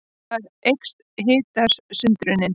Þar eykst hitasundrunin.